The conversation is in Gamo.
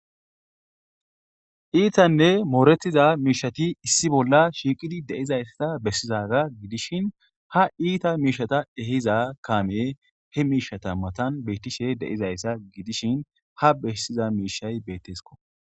Iittanne mooretiza miishshatti issi bolla shiiqqidi de'izaysa besizaga gidishin hai iita miishshata eehiza kaamey he miishshata maattan de'izaysata gidishin ha be'iza mishshay bettesikko